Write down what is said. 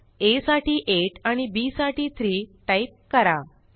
आ साठी 8 आणि बी साठी 3 टाईप करा